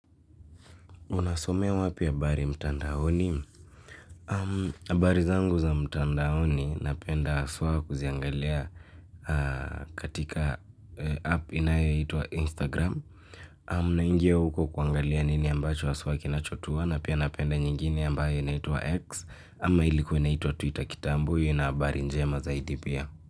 Unasomea wapi habari mtandaoni? Habari zangu za mtandaoni napenda sana kuziangalia katika app inayoitwa Instagram. Unaingia huko kuangalia nini ambacho haswa kinachotuona na pia napenda nyingine ambayo inaitwa X. Ama ilikuwa inaitwa twitter kitambo hiyo ina habari njema zaidi pia.